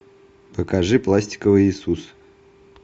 покажи пластиковый иисус